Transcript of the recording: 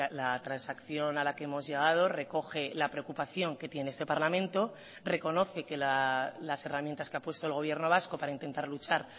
la transacción a la que hemos llegado recoge la preocupación que tiene este parlamento reconoce que las herramientas que ha puesto el gobierno vasco para intentar luchar